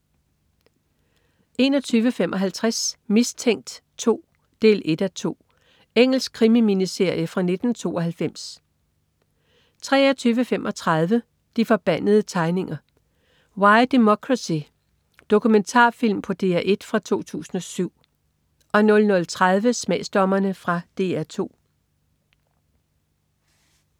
21.55 Mistænkt 2 1:2. Engelsk krimi-miniserie fra 1992 23.35 De forbandede tegninger - Why democracy. Dokumentarfilm på DR1 fra 2007 00.30 Smagsdommerne. Fra DR 2